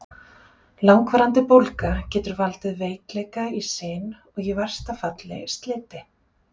Langvarandi bólga getur valdið veikleika í sin og í versta falli sliti.